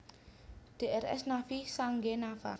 Drs Naffi Sanggenafa